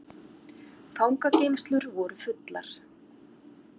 Fangageymslur voru fullar